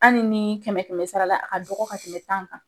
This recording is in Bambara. Anni ni kɛmɛ kɛmɛ sara la ka dɔgɔ ka tɛmɛ tan kan.